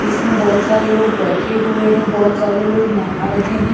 जिसमें बहुत सारे लोग बैठे हुए हैं बहुत सारे लोग नहा रहे हैं।